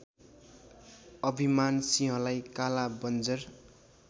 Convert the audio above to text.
अभिमानसिंहलाई काला बन्जर